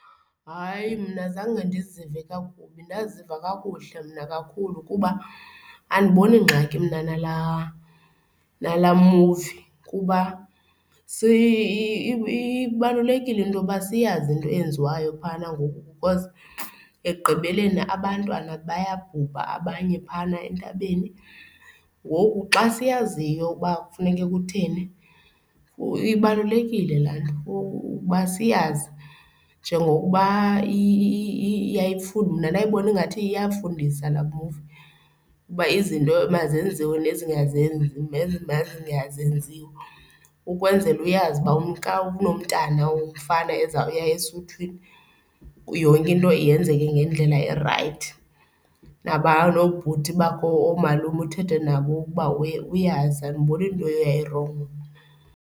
Hayi, mna zange ndizive kakubi ndaziva kakuhle mna kakhulu kuba andiboni ngxaki mna nala nala muvi kuba ibalulekile into yoba siyazi into eyenziwayo phayana ngoku because ekugqibeleni abantwana bayabhubha abanye phayana entabeni. Ngoku xa siyaziyo uba kufuneka kutheni, ibalulekile laa nto ukuba siyazi njengokuba yayifundisa, ndayibona ingathi iyafundisa laa muvi ukuba izinto emazenziwe nezingazenzi ukwenzela uyazi uba xa unomntu womfana ozawuya esuthwini, yonke into yenzeke ngendlela erayithi. Naba noobhuti bakhe oomalume uthethe nabo ukuba uyazi, andiboni nto eyayirongo.